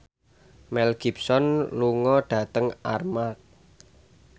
Mel Gibson lunga dhateng Armargh